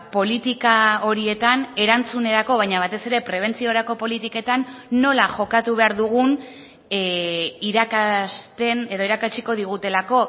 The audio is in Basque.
politika horietan erantzunerako baina batez ere prebentziorako politiketan nola jokatu behar dugun irakasten edo irakatsiko digutelako